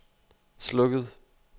slukket